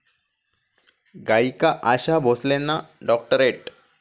गायिका आशा भोसलेंना डॉक्टरेट